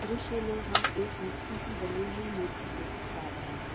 दृश्य में हम एक मछली की बनी हुई मूर्ति देख पा रहे है।